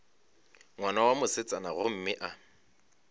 ngwana wa mosetsana gomme a